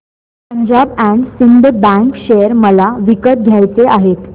Punjab and Sind bank share मला विकत घ्यायचे आहेत